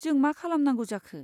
जों मा खालामनांगौ जाखो?